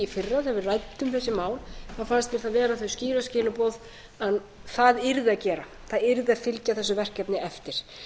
í fyrra þegar við ræddum þessi mál þá fannst mér það vera þau skýru skilaboð að það yrði að gera það yrði að fylgja þessu verkefni eftir